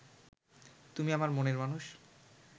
তুমি আমার মনের মানুষ